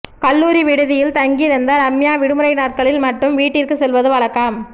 கல்லூரி விடுதியில் தங்கியிருந்த ரம்யா விடுமுறை நாட்களில் மட்டும் வீட்டிற்குச் செல்வது வழக்கம்